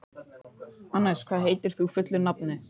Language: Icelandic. Anes, hvað heitir þú fullu nafni?